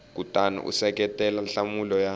kutani u seketela nhlamulo ya